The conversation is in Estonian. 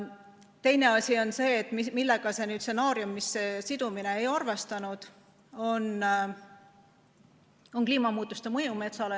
Teine asi on see, et see stsenaarium, mis räägib süsiniku sidumisest, ei arvestanud kliimamuutuste mõju metsale.